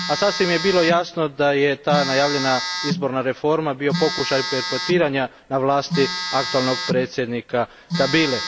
A sasvim je bilo jasno da je ta najavljena izborna reforma bio pokušaj perpetuiranja na vlasti aktualnog predsjednika Kabile.